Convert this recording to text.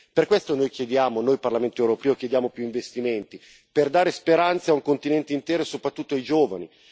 Per questo come Parlamento europeo chiediamo più investimenti, per dare speranza a un continente intero e soprattutto ai giovani